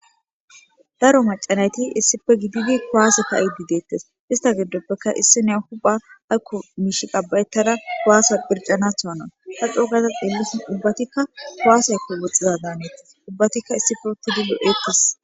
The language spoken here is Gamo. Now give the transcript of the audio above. Daro mac'a nayti issipe gididi kuwase ka'idi detes ista gidopeka isiniya huphiya ayko mishi qabayetada kuwase qirc'anato hanawu ta c'o gada xelishe ubatika kuwaseko woxizato danetes ubatika issipe utidi lo'etes.